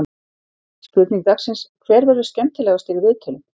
Spurning dagsins: Hver verður skemmtilegastur í viðtölum?